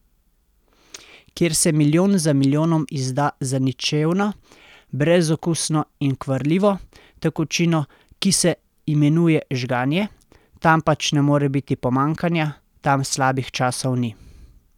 Kjer se milijon za milijonom izda za ničevno, brezokusno in kvarljivo tekočino, ki se imenuje žganje, tam pač ne more biti pomanjkanja, tam slabih časov ni!